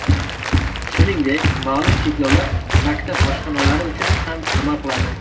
Shuningdek, ma’lum cheklovlar maktab oshxonalari uchun ham amal qiladi.